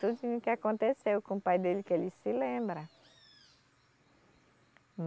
Tudinho que aconteceu com o pai dele, que ele se lembra.